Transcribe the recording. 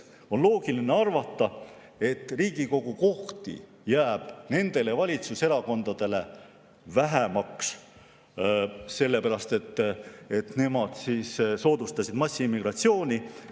On loogiline arvata, et Riigikogu kohti jääb nendel valitsuserakondadel vähemaks, sest nad on soodustanud massiimmigratsiooni.